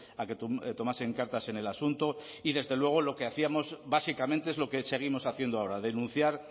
a que tomasen cartas en el asunto y desde luego lo que hacíamos básicamente es lo que seguimos haciendo ahora denunciar